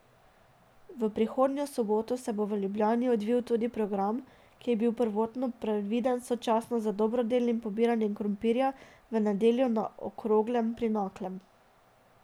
V prihodnjo soboto se bo v Ljubljani odvil tudi program, ki je bil prvotno predviden sočasno z dobrodelnim pobiranjem krompirja v nedeljo na Okroglem pri Naklem.